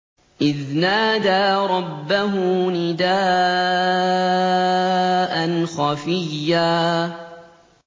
إِذْ نَادَىٰ رَبَّهُ نِدَاءً خَفِيًّا